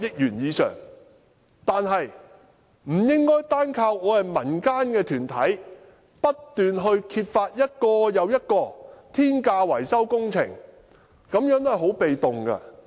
然而，政府不應單靠我們民間團體不斷揭發一項又一項天價維修工程，這樣是很被動的。